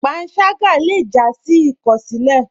Pànságá lè já sí ìkọsilẹ.